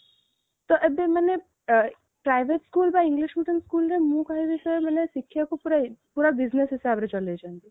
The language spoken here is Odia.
ତ ଏବେ ମାନେ private school ବା English medium school ରେ ମୁ କହିବି sir ମାନେ ଶିକ୍ଷା କୁ ପୁରା business ହିସାବରେ ଚଲେଇଛନ୍ତି